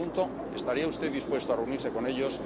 Le pregunto ¿Estaría usted dispuesto a reunirse con ellos?